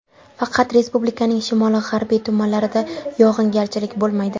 Faqat respublikaning shimoli-g‘arbiy tumanlarida yog‘ingarchilik bo‘lmaydi.